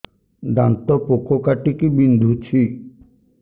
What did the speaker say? ଦାନ୍ତ ପୋକ କାଟିକି ବିନ୍ଧୁଛି